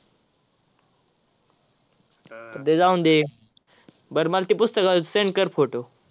ते जाऊन दे, बर मला पुस्तकावरचे send कर photo.